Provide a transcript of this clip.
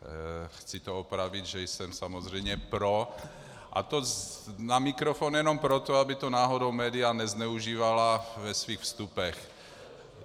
Chci to opravit, že jsem samozřejmě pro, a to na mikrofon, jenom proto, aby to náhodou média nezneužívala ve svých vstupech.